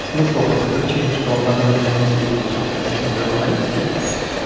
смысла по той причине что на данный момент у нас есть и собственная система веб аналитики